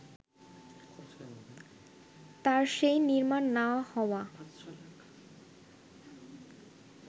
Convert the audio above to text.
তার সেই নির্মাণ না হওয়া